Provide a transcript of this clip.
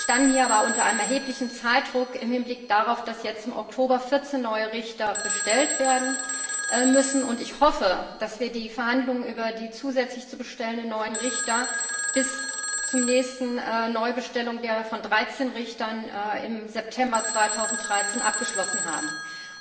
Wir standen hier aber unter einem erheblichen Zeitdruck im Hinblick darauf, dass jetzt im Oktober vierzehn neue Richter bestellt werden müssen, und ich hoffe, dass wir die Verhandlungen über die zusätzlich zu bestellenden neuen Richter bis zur nächsten Neubestellung von dreizehn Richtern im September 2013 abgeschlossen haben werden.